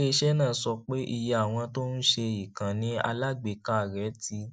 ilé iṣẹ náà sọ pé iye àwọn tó ń ṣe ìkànnì alágbèéká rẹ ti